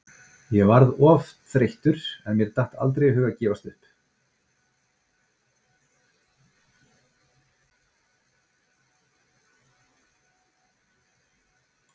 Ég varð oft þreyttur en mér datt aldrei í hug að gefast upp.